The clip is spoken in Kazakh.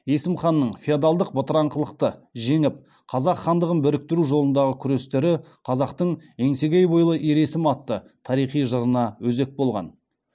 есім ханның феодалдық бытыраңқылықты жеңіп қазақ хандығын біріктіру жолындағы күрестері қазақтың еңсегей бойлы ер есім атты тарихи жырына өзек болған